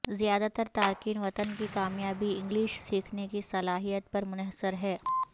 زیادہ تر تارکین وطن کی کامیابی انگلش سیکھنے کی صلاحیت پر منحصر ہے